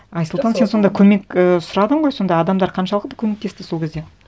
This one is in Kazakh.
айсұлтан сен сонда көмек і сұрадың ғой сонда адамдар қаншалықты көмектесті сол кезде